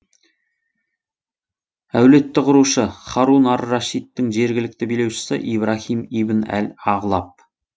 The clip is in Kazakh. әулетті құрушы һарун ар рашидтің жергілікті билеушісі ибраһим ибн әл ағлаб